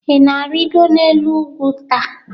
Ị na-arịgo n'elu ugwu taa?